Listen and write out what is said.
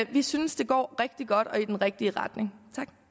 vi synes det går rigtig godt og i den rigtige retning